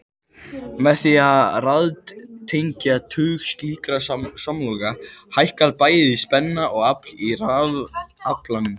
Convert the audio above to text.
Með því að raðtengja tug slíkra samloka hækkar bæði spenna og afl í rafalanum.